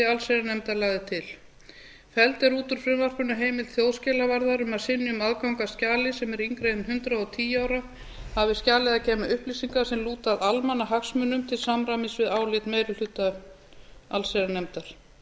allsherjarnefndar lagði til felld er út úr frumvarpinu heimild þjóðskjalavarðar um að synjun aðgangs að skjali sem er yngra en hundrað og tíu ára hafi skjalið að geyma upplýsingar sem lúta að almannahagsmunum til samræmis við álit meiri hluta allsherjarnefndar felld